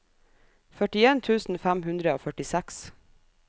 førtien tusen fem hundre og førtiseks